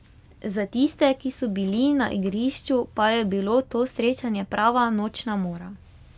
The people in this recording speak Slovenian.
Za tiste, ki so bili na igrišču, pa je bilo to srečanje prava nočna mora.